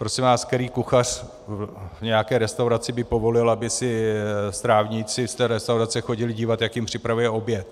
Prosím vás, který kuchař v nějaké restauraci by povolil, aby se strávníci v té restauraci chodili dívat, jak jim připravuje oběd?